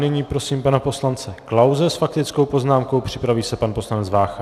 Nyní prosím pana poslance Klause s faktickou poznámkou, připraví se pan poslanec Vácha.